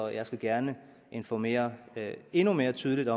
jeg skal gerne informere endnu mere tydeligt